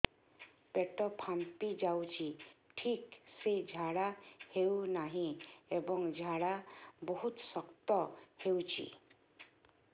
ପେଟ ଫାମ୍ପି ଯାଉଛି ଠିକ ସେ ଝାଡା ହେଉନାହିଁ ଏବଂ ଝାଡା ବହୁତ ଶକ୍ତ ହେଉଛି